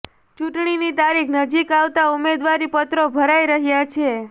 ચૂંટણીની તારીખ નજીક આવતાં ઉમેદવારી પત્રો ભરાઇ રહ્યાં છે